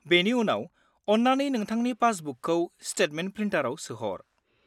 -बेनि उनाव, अन्नानै नोंथांनि पासबुकखौ स्टेटमेन्ट प्रिन्टाराव सोहर।